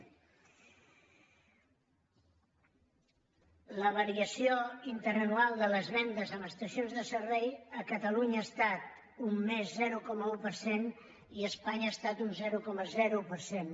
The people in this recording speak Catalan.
la variació interanual de les vendes en estacions de servei a catalunya ha estat un més zero coma un per cent i a espanya ha estat un zero coma zero per cent